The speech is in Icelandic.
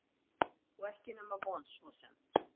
Og ekki nema von svo sem.